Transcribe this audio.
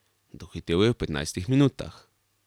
Dohitel jo je v petnajstih minutah.